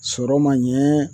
Sɔrɔ ma ɲɛ